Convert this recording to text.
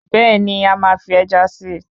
Bẹ́ẹ̀ni,a máa fi Ẹja si